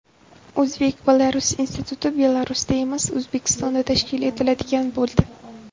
O‘zbek-Belarus instituti Belarusda emas, O‘zbekistonda tashkil etiladigan bo‘ldi.